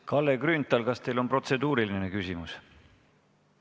Kalle Grünthal, kas teil on protseduuriline küsimus?